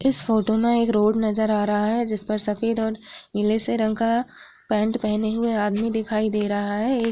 इस फोटो में एक रोड नज़र आ रहा है। जिस पर सफ़ेद और नीले से रंग का पैंट पहने हए आदमी दिखाई दे रहा है। एक --